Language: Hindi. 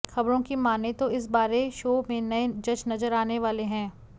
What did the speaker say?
खबरों की माने तो इस बारे शो में नये जज नजर आने वाले हैं